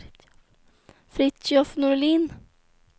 Fritiof Norlin